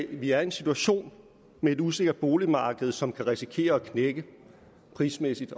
vi er i en situation med et usikkert boligmarked som kan risikere at knække prismæssigt